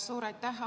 Suur aitäh!